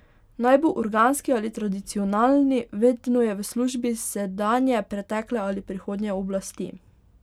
Naj bo organski ali tradicionalni, vedno je v službi sedanje, pretekle ali prihodnje oblasti.